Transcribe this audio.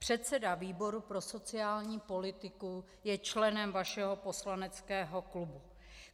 Předseda výboru pro sociální politiku je členem vašeho poslaneckého klubu.